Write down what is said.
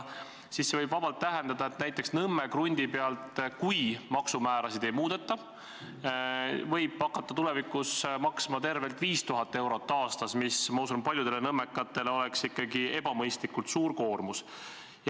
See võib vabalt tähendada, et näiteks Nõmme krundi pealt – kui maksumäärasid ei muudeta – tuleb hakata tulevikus maksma tervelt 5000 eurot aastas, mis, ma usun, paljudele nõmmekatele oleks ikkagi ebamõistlikult suur koormus.